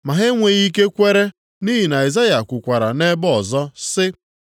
Ma ha enweghị ike kwere, nʼihi na Aịzaya kwukwara nʼebe ọzọ, sị,